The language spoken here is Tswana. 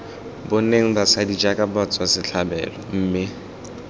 boneng basadi jaaka batswasetlhabelo mme